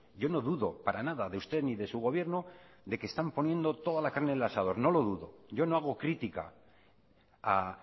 yo no dudo para nada de usted ni de su gobierno de que están poniendo toda la carne en el asador no lo dudo yo no hago crítica a